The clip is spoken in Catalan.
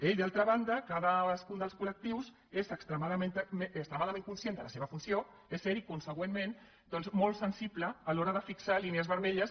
i d’altra banda cadascun dels col·lectius és extremadament conscient de la seva funció és cert i conseqüentment molt sensible a l’hora de fixar línies vermelles